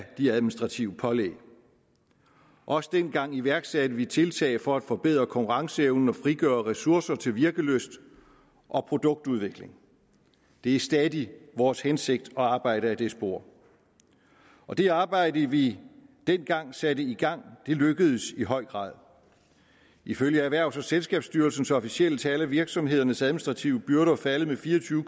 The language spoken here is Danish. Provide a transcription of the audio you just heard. de administrative pålæg også dengang iværksatte vi tiltag for at forbedre konkurrenceevnen og frigøre ressourcer til virkelyst og produktudvikling det er stadig vores hensigt at arbejde ad det spor og det arbejde vi dengang satte i gang lykkedes i høj grad ifølge erhvervs og selskabsstyrelsens officielle tal er virksomhedernes administrative byrder faldet med fire og tyve